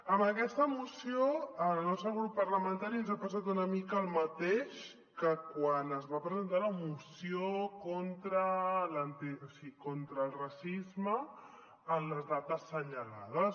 amb aquesta moció al nostre grup parlamentari ens ha passat una mica el mateix que quan es va presentar la moció contra el racisme en les dates assenyalades